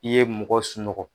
I ye mɔgɔ sunɔgɔ.